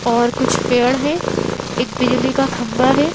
और कुछ पेड़ हैं एक बिजली का खंभा हैं।